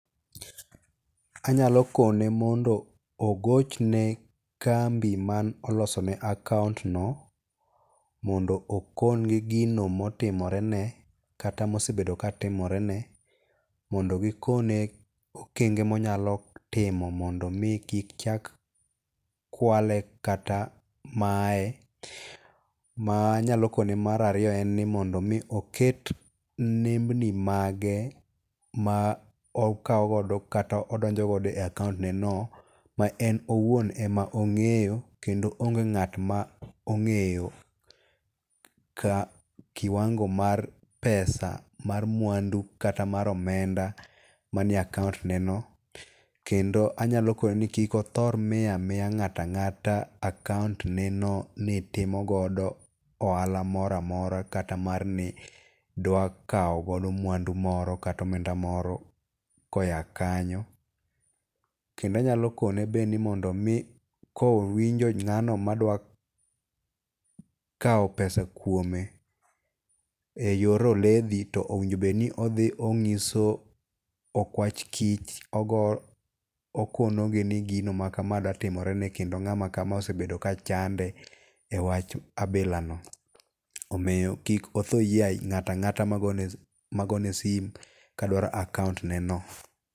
Anyalo kone mondo ogochne kambi man olosone akount no mondo okon gi gino motimorene kata mosebedo ka timorene mondo gikone okenge monyalo timo mondo mi kik chak kwale kata maye. Manyalo kone mar ariyo en mondo mi oket nembni mage ma okaw godo kata odonjo godo e akount ne no ma en owuon ema ong'eyo kendo onge ng'at ma ong'eyo kiwango mar pesa mar mwandu kata mar omenda mane akount ne no. Kendo anyalo kone ni kik othor miyo amiya ng'ato ang'ata akount ne no nitimogodo ohala moro amara kata mar ni dwa kaw godo mwandu moro kata omenda moro ko ya kanyo. Kendo anyalo kone ben ni mondo omi kowinjo ng'ano madwa kaw pesa kuome e yor oledhi to owinjo bed ne odhi onyiso okwach kich okono gi ni gino maka dwa timore ne kendo ng'ama kama osebedo ka chande e wach abila no. Omiyo kik otho yie ng'ato ang'ata magone sim kadwaro akount ne no.